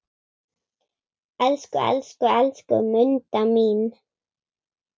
Elsku, elsku, elsku Munda mín.